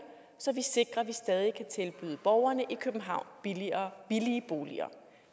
så vi sikrer at vi stadig kan tilbyde borgerne i københavn billige billige boliger